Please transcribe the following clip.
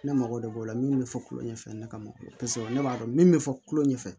Ne mago de b'o la min be fɔ kulo ɲɛ fɛ ne ka mɔgɔ ye paseke ne b'a dɔn min be fɔ kulo ɲɛ fɛ